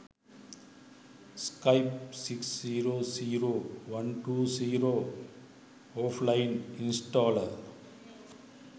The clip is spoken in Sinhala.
skype 6 0 0 120 offline installer